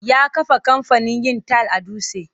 Ya kafa kamfanin yin tayil a Dutse.